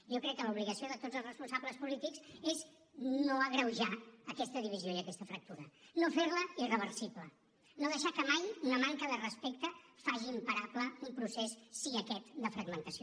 jo crec que l’obligació de tots els responsables polítics és no agreujar aquesta divisió i aquesta fractura no fer la irreversible no deixar que mai una manca de respecte faci imparable un procés sí aquest de fragmentació